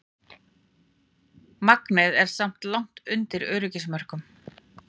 Magnið er samt langt undir öryggismörkum